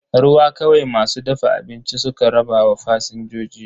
Ruwa kawai masu dafa abinci suka rabawa fasinjoji.